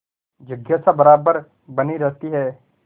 जिज्ञासा बराबर बनी रहती है